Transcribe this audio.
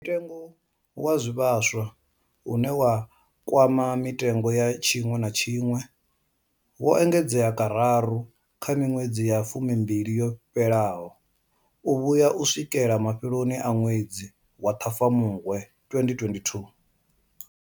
Mutengo wa zwivhaswa, une wa kwama mitengo ya tshiṅwe na tshiṅwe, wo engedzwa kararu kha miṅwedzi ya fumimbili yo fhelaho u vhuya u swikela mafheloni a ṅwedzi wa Ṱhafamuhwe 2022.